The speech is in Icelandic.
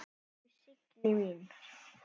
Elsku Signý mín.